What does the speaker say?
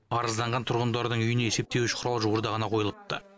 арызданған тұрғындардың үйіне есептеуіш құрал жуырда ғана қойылыпты